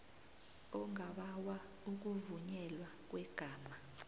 ongabawa ukuvunyelwa kwegama